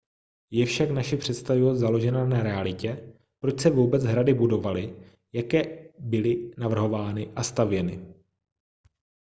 je však naše představivost založena na realitě proč se vůbec hrady budovaly jak byly navrhovány a stavěny